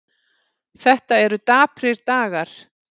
Þetta eru daprir dagar